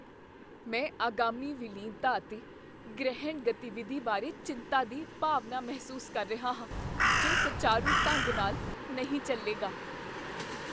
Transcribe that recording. ਮੈਂ ਆਗਾਮੀ ਵਿਲੀਨਤਾ ਅਤੇ ਗ੍ਰਹਿਣ ਗਤੀਵਿਧੀ ਬਾਰੇ ਚਿੰਤਾ ਦੀ ਭਾਵਨਾ ਮਹਿਸੂਸ ਕਰ ਰਿਹਾ ਹਾਂ ਜੋ ਸੁਚਾਰੂ ਢੰਗ ਨਾਲ ਨਹੀਂ ਚੱਲੇਗਾ।